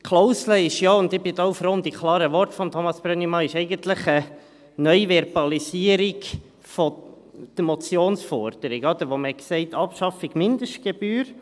Die Klausel ist ja eigentlich – und ich bin da auch froh um die klaren Worte von Thomas Brönnimann – eine Neuverbalisierung der Motionsforderung, wo man sagte: Abschaffung Mindestgebühr.